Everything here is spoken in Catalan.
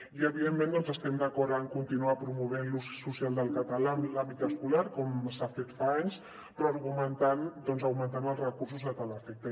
i evidentment doncs estem d’acord a continuar promovent l’ús social del català en l’àmbit escolar com s’ha fet fa anys però augmentant els recursos a tal efecte